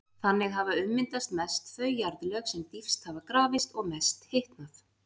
Þannig hafa ummyndast mest þau jarðlög sem dýpst hafa grafist og mest hitnað.